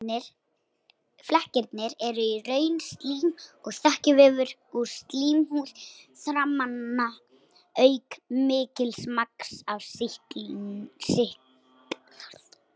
Flekkirnir eru í raun slím og þekjuvefur úr slímhúð þarmanna auk mikils magns af sýklinum.